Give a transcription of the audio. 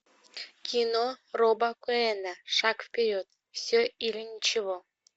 кино роба коэна шаг вперед все или ничего